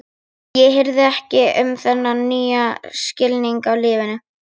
Skera gler, klifra upp í stiga, skipta um rúður.